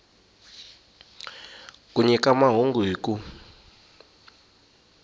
ku nyika mahungu hi ku